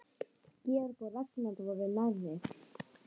Georg og Ragnar voru nærri.